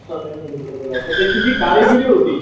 कसा त्यांनी हे केलेला त्याची जी कारिगरी होती,